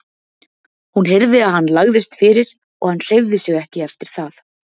Hún heyrði að hann lagðist fyrir og hann hreyfði sig ekki eftir það.